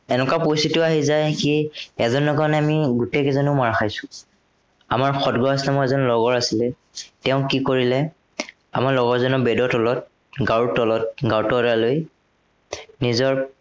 এনেকুৱা পৰিস্থিতিও আহি যায় কি, এজনৰ কাৰনে আমি গোটেই কেইজনেও মাৰ খাইছো। আমাৰ এজন লগৰ আছিলে, তেওঁ কি কৰিলে, আমাৰ লগৰ এজনৰ bed ৰ তলত, গাৰুৰ তলত এটা লৈ নিজৰ